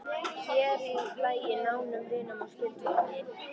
Sér í lagi nánum vinum og skyldfólki.